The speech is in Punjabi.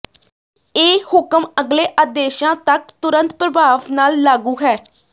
ਇਹ ਹੁਕਮ ਅਗਲੇ ਆਦੇਸ਼ਾਂ ਤੱਕ ਤੁਰੰਤ ਪ੍ਰਭਾਵ ਨਾਲ ਲਾਗੂ ਹ